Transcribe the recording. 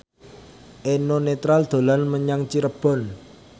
Eno Netral dolan menyang Cirebon